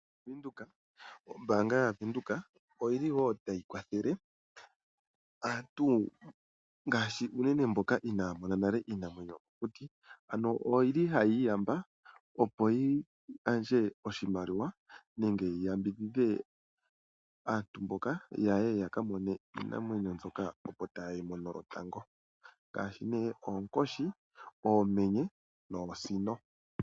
Ombaanga yaVenduka oyili wo tayi kwathele aantu ngaashi unene mboka inaaya mona nale iinamwenyo yomokuti. Ano oyili hayi iyamba opo yi gandje oshimaliwa nenge yi yambidhidhe aantu mboka yaye ya ka mone iinamwenyo mbyoka opo taye yi mono lwotango. Ngaashi nee oonkoshi, oomenye noosino.